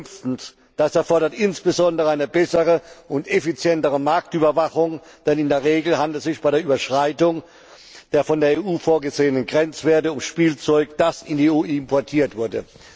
Fünftens, dies erfordert insbesondere eine bessere und effizientere Marktüberwachung, denn in der Regel handelt es sich bei der Überschreitung der von der EU vorgesehenen Grenzwerte um Spielzeug, das in die EU importiert wurde.